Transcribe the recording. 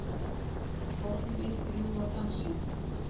Orð mín rjúfa dansinn.